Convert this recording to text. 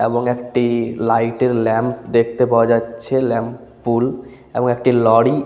এবং একটি লাইট এর ল্যাম্প দেখতে পাওয়া যাচ্ছে ল্যাম্প পুল এবং একটি লরি --